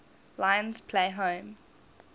lions play home